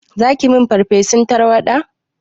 Zaki yi min farfesun tarwaɗa?